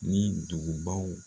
Ni dugubaw